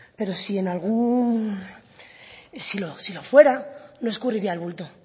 pero si lo fuera no escurriría el bulto